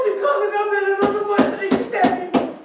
Səni qana belə mənə basdırıb gedə bilməyib.